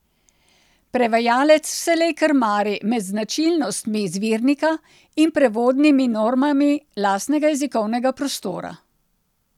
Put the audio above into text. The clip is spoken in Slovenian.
Prevajalec vselej krmari med značilnostmi izvirnika in prevodnimi normami lastnega jezikovnega prostora.